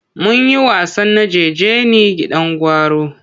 Mun yi wasan najeje ni gidan gwauro.